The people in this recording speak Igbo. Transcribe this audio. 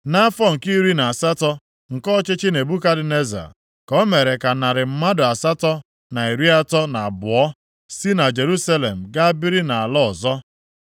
Nʼafọ nke iri na asatọ nke ọchịchị Nebukadneza, ka o mere ka narị mmadụ asatọ na iri atọ na abụọ, 832 si na Jerusalem gaa biri nʼala ọzọ.